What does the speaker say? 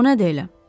O nədir elə?